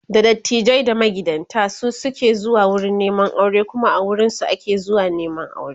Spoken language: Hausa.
da dattijai da magidanta su suke zuwa wurin Neman aure Kuma a wurinsu ake zuwa Neman aure